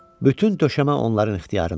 Bütün döşəmə onların ixtiyarında idi.